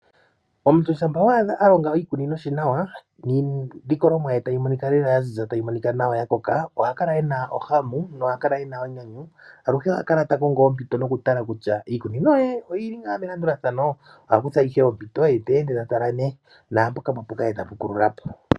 Omuntu shampa wa adha a longa oshikunino she nawa, niilikolomwa ye tayi monika lela yaziza, tayi monika nawa yakoka ohakala ena ohahu nohakala ena enyanyu. Aluhe oha kala takongo ompito noku tala kutya iikunino ye oyi ngaa melandulathano. Oha kutha ihe ompito ye teende ta tala nee naampoka pwapuka ye tapu kulula po.